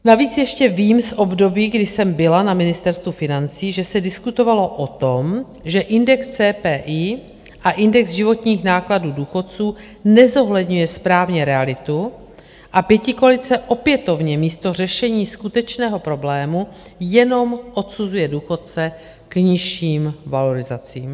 Navíc ještě vím z období, kdy jsem byla na Ministerstvu financí, že se diskutovalo o tom, že index CPI a index životních nákladů důchodců nezohledňuje správně realitu, a pětikoalice opětovně místo řešení skutečného problému jenom odsuzuje důchodce k nižším valorizacím.